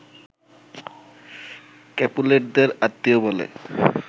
ক্যাপুলেটদের আত্মীয় বলে